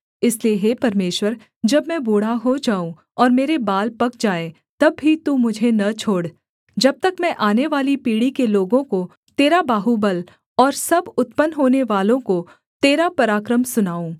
इसलिए हे परमेश्वर जब मैं बूढ़ा हो जाऊँ और मेरे बाल पक जाएँ तब भी तू मुझे न छोड़ जब तक मैं आनेवाली पीढ़ी के लोगों को तेरा बाहुबल और सब उत्पन्न होनेवालों को तेरा पराक्रम सुनाऊँ